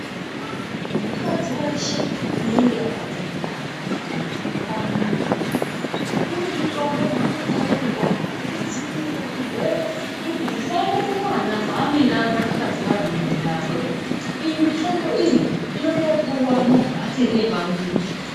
Mukadzi weshe anenge akadzitwara kana kuti unepamwiri unemitombo yaanopuwa kudzivirira zvirwere zvisaenda kumwana waanenge akarwara mundani mwake iyi mitombo iyi inotopuwa muntu achiri nepamumwiri